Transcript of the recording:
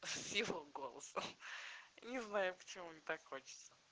с его голосом не знаю почему мне так хочется